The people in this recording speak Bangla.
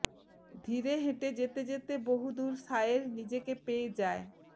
ধীরে হেঁটে যেতে যেতে বহুদূর শায়ের নিজেকে পেয়ে যায়